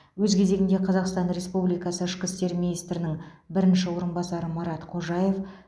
өз кезегінде қазақстан республикасы ішкі істер министрінің бірінші орынбасары марат қожаев